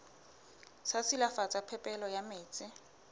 sa silafatsa phepelo ya metsi